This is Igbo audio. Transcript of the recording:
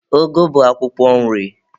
Ụgụ bụ akwụkwọ nri.